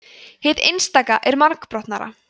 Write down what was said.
hið einstaka er margbrotnara